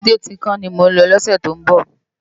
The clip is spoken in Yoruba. Ébùté Tinkán ni mó n lò lòsè tó n bò